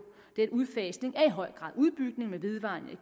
denne udfasning er i høj grad udbygning med vedvarende